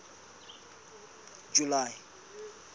july